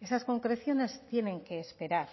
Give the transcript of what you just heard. esas concreciones tienen que esperar